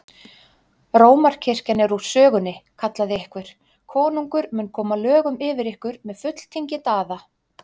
Rómarkirkjan er úr sögunni, kallaði einhver,-konungur mun koma lögum yfir ykkur með fulltingi Daða!